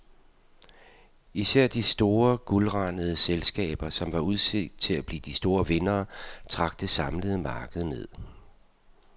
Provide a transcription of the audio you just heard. Især de store guldrandede selskaber, som var udset til at blive de store vindere, trak det samlede marked ned.